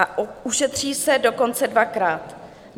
A ušetří se dokonce dvakrát.